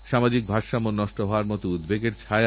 সুখী সমৃদ্ধএলাকাতেই সবচেয়ে আগে ডেঙ্গু ছড়ায়